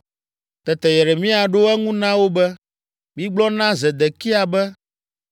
Tete Yeremia ɖo eŋu na wo be, “Migblɔ na Zedekia be,